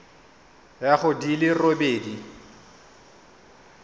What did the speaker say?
ya go di le robedi